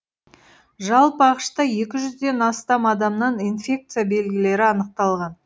жалпы ақш та екі жүзден астам адамнан инфекция белгілері анықталған